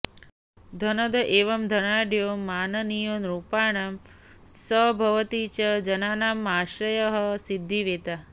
धनद इव धनाढ्यो माननीयो नृपाणां स भवति च जनानामाश्रयः सिद्धिवेत्ता